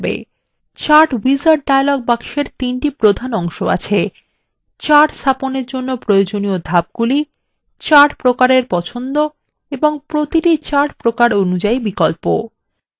chart wizard dialog box এর তিনটি প্রধান অংশ আছে chart স্থাপনের জন্য প্রয়োজনীয় ধাপগুলি chart প্রকারের পছন্দ এবং প্রতিটি chart প্রকার অনুযাই বিকল্প